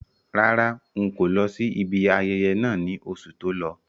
Rárá, n̄ kò lọ sí ibi ayẹyẹ náà ní oṣù tó lọ.